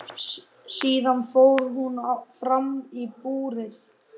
Síðan fór hún fram í búrið.